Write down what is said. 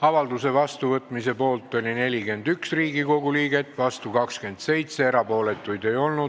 Avalduse vastuvõtmise poolt oli 41 ja vastu 27 Riigikogu liiget, erapooletuid ei olnud.